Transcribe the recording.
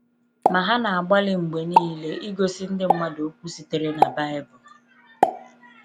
Ma ha na-agbalị mgbe niile igosi ndị mmadụ okwu sitere na baịbụl.